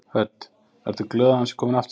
Hödd: Ertu glöð að hann sé kominn aftur?